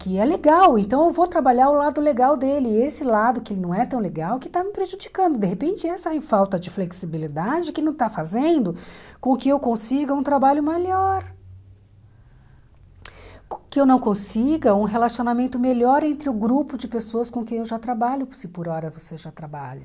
que é legal, então eu vou trabalhar o lado legal dele, e esse lado que não é tão legal, que está me prejudicando, de repente essa falta de flexibilidade que não está fazendo com que eu consiga um trabalho melhor, que eu não consiga um relacionamento melhor entre o grupo de pessoas com quem eu já trabalho, se por hora você já trabalha.